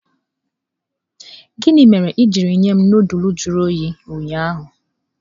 Gini mere i jiri nye m nudulu jụrụ oyi ụnyaahụ?